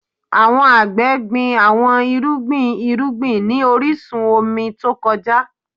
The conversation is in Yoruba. Awọn agbẹ gbin awọn irugbin irugbin ni orisun omi to kọja